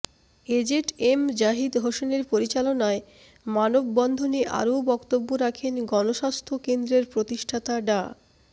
AZ M Zahid হোসেনের পরিচালনায় মানববন্ধনে আরও বক্তব্য রাখেন গণস্বাস্থ্য কেন্দ্রের প্রতিষ্ঠাতা ডা